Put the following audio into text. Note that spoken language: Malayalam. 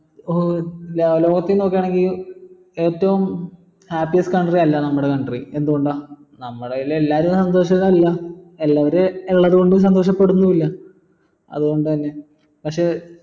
ഏർ ലോകത്തിൽ നോക്കാണെങ്കി ഏറ്റവും happy സ്ഥാനത് അല്ല നമ്മള country എന്തുകൊണ്ട നമ്മളയിൽ എല്ലാരും സന്തോഷരല്ല എല്ലാരും ഉള്ളത് കൊണ്ട് സന്തോഷപ്പെടുന്നു ഇല്ല അത്കൊണ്ട് തന്നെ പക്ഷെ